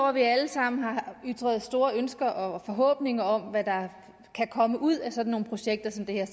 at vi alle sammen har ytret store ønsker og forhåbninger om hvad der kan komme ud af sådan nogle projekter som det her